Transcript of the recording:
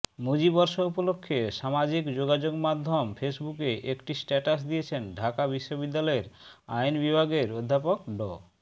মুজিবর্ষ উপলক্ষে সামাজিক যোগাযোগমাধ্যম ফেসবুকে একটি স্ট্যাটাস দিয়েছেন ঢাকা বিশ্ববিদ্যালয়ের আইন বিভাগের অধ্যাপক ড